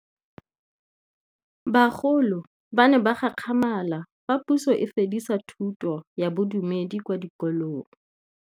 Bagolo ba ne ba gakgamala fa Pusô e fedisa thutô ya Bodumedi kwa dikolong.